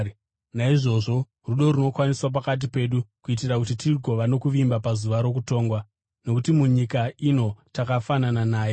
Naizvozvo, rudo runokwaniswa pakati pedu kuitira kuti tigova nokuvimba pazuva rokutongwa, nokuti munyika ino takafanana naye.